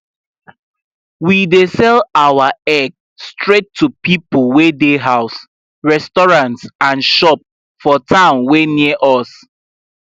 we dey sell our egg straight to people wey dey house restaurants and shop for town wey near us